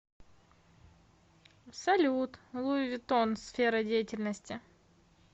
салют луи виттон сфера деятельности